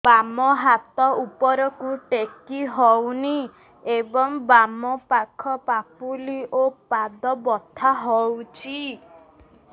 ବାମ ହାତ ଉପରକୁ ଟେକି ହଉନି ଏବଂ ବାମ ପାଖ ପାପୁଲି ଓ ପାଦ ବଥା ହଉଚି